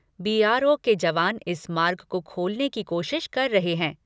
B R O के जवान इस मार्ग को खोलने की कोशिश कर रहे हैं।